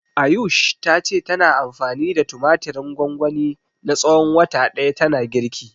Ayush ta ce tana anfani da tumatirin gwangwani na tsawon wata ɗaya tana girki.